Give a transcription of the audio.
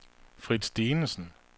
Frits Dinesen